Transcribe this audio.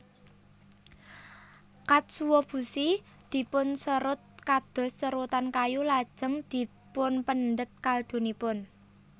Katsuobushi dipunserut kados serutan kayu lajeng dipunpendhet kaldunipun